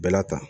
Bɛɛla ta